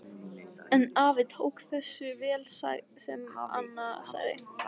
En afi tók þessu vel sem Anna sagði.